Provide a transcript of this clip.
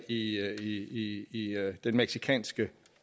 i den mexicanske